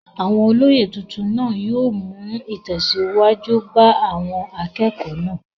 Àwọn olóyè titun naa yóò mú ìtẹ̀síwájú bá àwọn akẹ́kọ̀ọ́ náà.